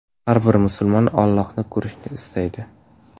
Har bir musulmon Ollohni ko‘rishni istaydi.